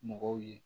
Mɔgɔw ye